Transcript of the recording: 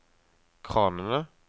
kranene